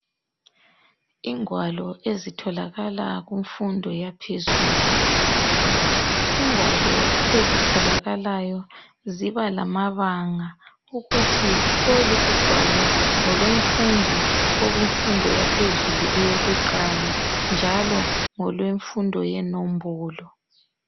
Ingwalo ezitholakala kumfundo yaphezulu. Ingwalo ezitholakalayo ziba lamabanga ukuthi lolu ugwalo ngolomfundi okumfundo yaphezulu eyokuqala njalo ngolwemfundo yenombolo.